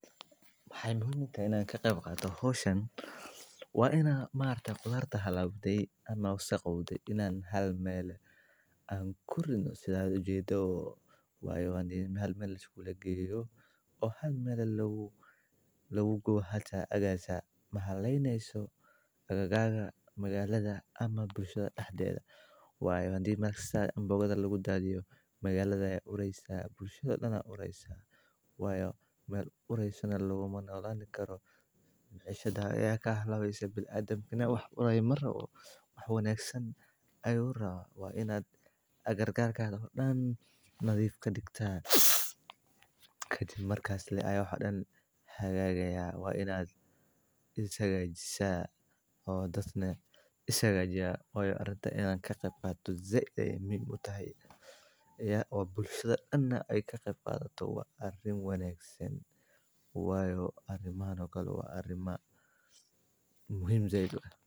Waxey muhiim utahay inaan kaqeyb qaato howshan waan inaan maargta qudharta halaawde aan wasaqowde inaan hal meel eh aan kuridno sidhaad ujeedo wayo hal meel liskulageyo oo hal meel ehe lagugubo hata egaas mahaleneyso agaarha magaaladha ama bulshada daxdeedha. Waa in hadi kadib mar kasta amboogadha lagudaadhiyo magaaladha ayaa ureysa bulshada dan ayaa ureysa wayo mel ureeyso neh laguma nolaani karo maciishada ayaa kahalawesa binadamka neh wax uraayo marabo wax wanaagsan ayuu raba. waa inaad agagarkadha oo dan nadhiif kadigta marka aya wax kasta hagaagaya. Waa inaad is hagaajisa oo dad neh ishagaajiyan wayo aritan inaan kaqeyb qadhato zaid ayeey muhiim utahay iya oo bulshada dan neh ey kaqeyb qadhato waa arin aad uwanaagsan wayo arimahan oo kale waa arimo muhiim zaid uah.